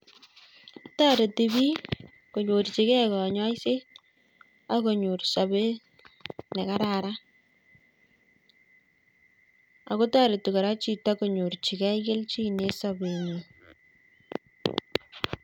Toreti piik konyorchikei kanyoiset ak konyor sobet ne kararan, ako toreti kora chito konyorchikei kelchin eng sobenyi.